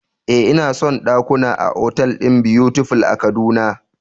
Eh, ina son dakuna a otal din Butterfly a kaduna